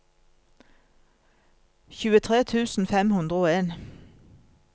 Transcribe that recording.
tjuetre tusen fem hundre og en